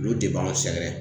Olu de b'anw sɛgɛrɛ.